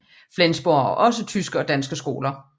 Flensborg har også tyske og danske skoler